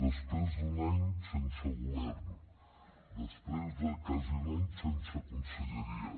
després d’un any sense govern després de quasi un any sense conselleria